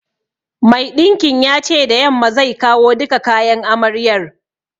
Mai ɗinkin ya ce da yamma zai kawo duka kayan amaryar